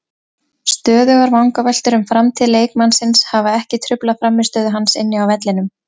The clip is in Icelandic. Stöðugar vangaveltur um framtíð leikmannsins hafa ekki truflað frammistöðu hans inni á vellinum.